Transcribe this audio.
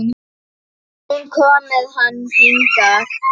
Hún kom með hann hingað.